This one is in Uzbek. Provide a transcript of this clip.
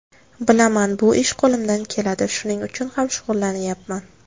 Bilaman, bu ish qo‘limdan keladi, shuning uchun ham shug‘ullanyapman.